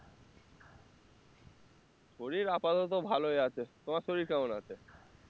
শরীর আপাতত ভালই আছে, তোমার শরীর কেমন আছে?